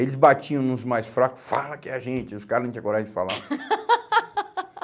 Eles batiam nos mais fracos, fala que é a gente, os caras não tinham coragem de falar.